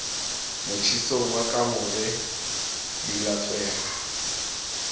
motjhesong wa kamore di latsweha